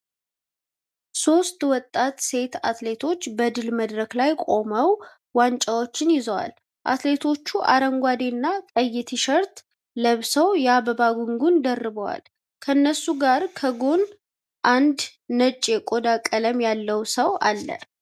ሶስት ወጣት ሴት አትሌቶች በድል መድረክ ላይ ቆመው ዋንጫዎችን ይዘዋል። አትሌቶቹ አረንጓዴና ቀይ ቲሸርት ለብሰው የአበባ ጉንጉን ደርበዋል። ከእነሱ ጋር ከጎን አንድ ነጭ የቆዳ ቀለም ያለው ሰው አለ።